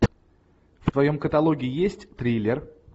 в твоем каталоге есть триллер